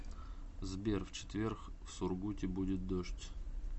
сбер в четверг в сургуте будет дождь